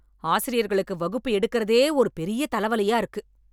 ஆசிரியர்களுக்கு வகுப்பு எடுக்குறதே ஒரு பெரிய தல வலியா இருக்கு